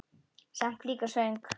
Samt líka svöng.